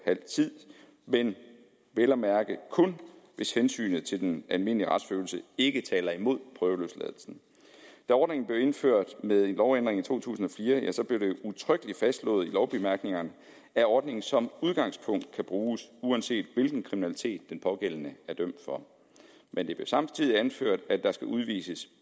halv tid men vel at mærke kun hvis hensynet til den almindelige retsfølelse ikke taler imod prøveløsladelsen da ordningen blev indført ved en lovændring i to tusind og fire blev det udtrykkeligt fastslået i lovbemærkningerne at ordningen som udgangspunkt kan bruges uanset hvilken kriminalitet den pågældende er dømt for men det blev samtidig anført at der skal udvises